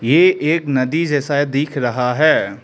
ये एक नदी जैसा दिख रहा है।